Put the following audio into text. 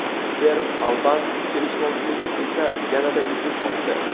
Serb-alban kelishmovchiligi esa yanada ildiz otdi.